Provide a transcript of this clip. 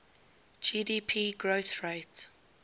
gdp growth rate